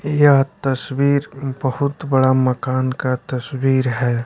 यह तसबीर बहुत बड़ा मकान का तस्वीर है।